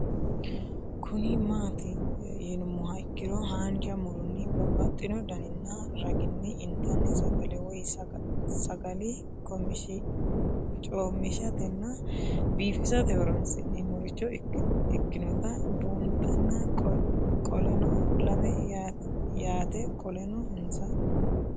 Kuni mati yinumoha ikiro hanja muroni babaxino daninina ragini intani sagale woyi sagali comishatenna bifisate horonsine'morich ikinota bunxana qoleno lame yaate qoleno insa